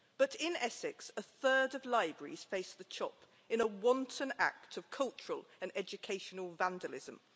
However, in Essex a third of libraries face the chop, in a wanton act of cultural and educational vandalism.